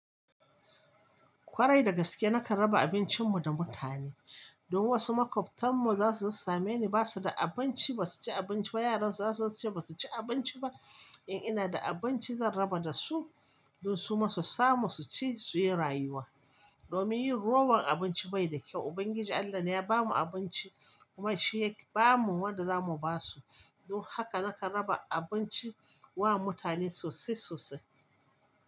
Kwarai dagaske nakan raba abincinmu da mutane. Dn wasu maƙwabtanmu za su zo su same ni ba su da abinci ba su ci abinci ba yaransu za su ce ba su ci abinci ba. In ina da abinci zan raba da su dan su ma su samu su ci su yi rayuwa. Domin yin rowan abinci bai da kyau. Ubangiji Allah ne ya bamu abinci kuma shi ya bamu wanda za mu ba su. Don haka nakan raba abinci wa mutane sosai sosai.